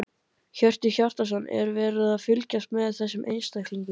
Hjörtur Hjartarson: Er verið að fylgjast með þessum einstaklingum?